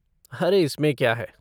अरे इसमें क्या है!